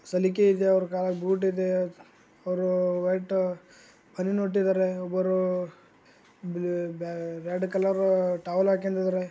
ಸಲಿಕೆ ಇದೆ ಅವ್ರ ಕಾಲಗ ಬುಟ ಇದೆ ಅವ್ರ ವೈಟ ಇಟ್ಟಿದ್ದಾರೆ ಒಬ್ಬರು ಬಿ ಬ್ಯಾ ರೆಡ ಕಲರ್‌ ಟವೆಲ ಹಾಕೆಂದಾರೆ.